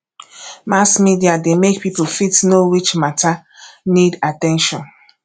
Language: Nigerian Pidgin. mass media de make pipo fit know which matter need at ten tion